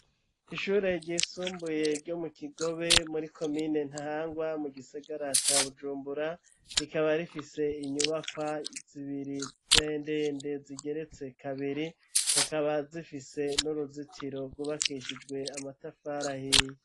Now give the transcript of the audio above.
Ishure ryisumbuye ryo mu Kigobe muri komine Ntahangwa mu gisigara ca bujumbura rikaba rifise inyubakwa zibiri ndende zigeretse kabiri hakaba zifise n'uruzitiro rwubakishijwe amatafari ahiye.